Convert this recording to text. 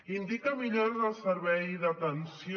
indica millores al servei d’atenció